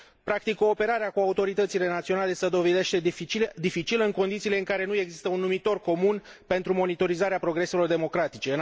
Practic, cooperarea cu autoritățile naționale se dovedește dificilă, în condițiile în care nu există un numitor comun pentru monitorizarea progreselor democratice.